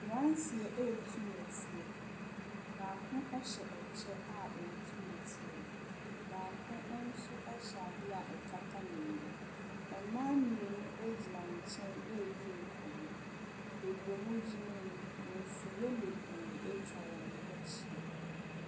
Mmeranteɛ retu nnɛteɛ. Baako hyɛ kyɛ a ɔretu nneteɛ no. baako nso hyɛ adeɛ a ɛkata n'ani. Mmaa mmienu gyina nkyɛn redi nkɔmmɔ. Baabi a wɔgyina yi, mfuiiɛ bebree atwa wɔn ho ahyi.